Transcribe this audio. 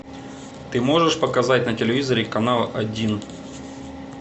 ты можешь показать на телевизоре канал один